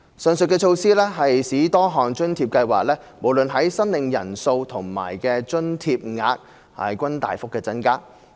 上述措施使多項津貼計劃無論在申領人數和津貼額均大幅增加。